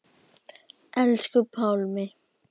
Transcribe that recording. Elsku Pálmi.